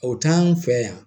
O t'anw fɛ yan